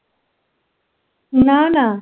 না না।